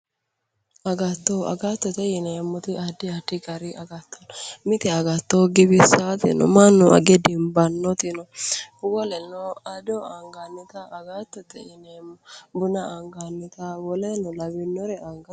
agattote agattote yineemmoti addi addi gari agatto no mite agatto giwissaati no mannu age dimbannote woleno ado angannita agattote yineemmo woleno buna angannita woleno lawinnota angannita.